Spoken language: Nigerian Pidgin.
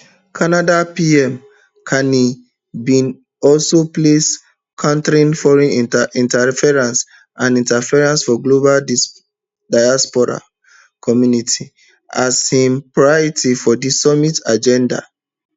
canada pm carney bin also place countering foreign interference and interference for global diaspora um communities as high priorities for di summit agenda